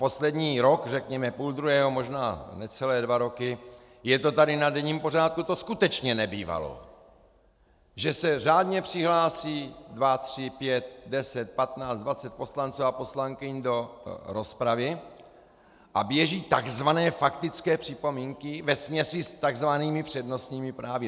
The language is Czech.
Poslední rok, řekněme, půl druhého, možná necelé dva roky, je to tady na denním pořádku, to skutečně nebývalo, že se řádně přihlásí dva, tři, pět, deset, patnáct, dvacet poslanců a poslankyň do rozpravy a běží takzvané faktické připomínky vesměs i s takzvanými přednostními právy.